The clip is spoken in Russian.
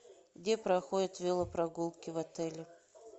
где проходят велопрогулки в отеле